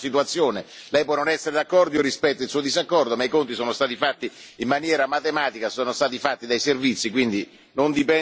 Lei può non essere d'accordo, io rispetto il suo disaccordo, ma i conti sono stati fatti in maniera matematica, sono stati fatti dai servizi, quindi non dipende da me.